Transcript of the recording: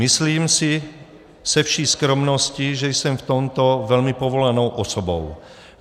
Myslím si se vší skromností, že jsem v tomto velmi povolanou osobou.